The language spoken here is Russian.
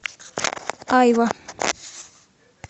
айва